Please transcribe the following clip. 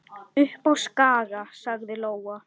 Upp á Skaga, sagði Lóa.